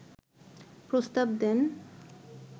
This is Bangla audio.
প্রস্তাব দেন